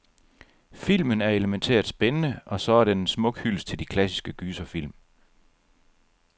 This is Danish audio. Filmen er elemæntært spændende, og så er den en smuk hyldest til de klassiske gyserfilm.